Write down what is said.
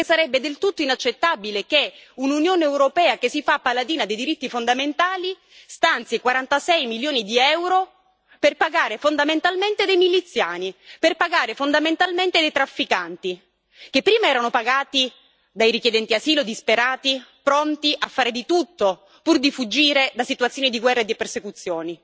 Perché sarebbe del tutto inaccettabile che un'Unione europea che si fa paladina dei diritti fondamentali stanzi 46 milioni di EUR per pagare fondamentalmente dei miliziani, per pagare fondamentalmente dei trafficanti, che prima erano pagati dai richiedenti asilo disperati, pronti a fare di tutto pur di fuggire da situazioni di guerra e di persecuzioni